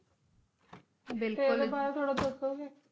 ਬਿਲਕੁਲ ਐਡੇ ਬਾਰੇ ਥੋੜ੍ਹਾ ਦੱਸੋ ਗੇ